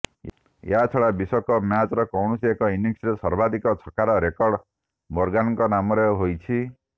ଏହାଛଡ଼ା ବିଶ୍ୱକପ ମ୍ୟାଚର କୌଣସି ଏକ ଇନିଂସରେ ସର୍ବାଧିକ ଛକାର ରେକର୍ଡ ମୋର୍ଗାନଙ୍କ ନାମରେ ହୋଇଛି